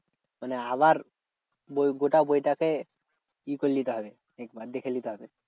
মানে আবার বই গোটা বইটা কে ই করে নিতে হবে একবার দেখে নিতে হবে।